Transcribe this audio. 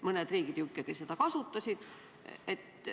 Mõned riigid ju ikkagi kasutasid seda.